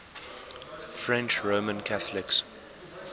french roman catholics